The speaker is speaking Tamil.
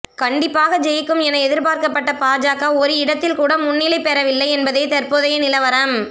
கண்டிப்பாக ஜெயிக்கும் என எதிர்பார்க்கப்பட்ட பாஜக ஒரு இடத்தில் கூட முன்ணிலை பெறவில்லை என்பதே தற்போதைய நிலவரம்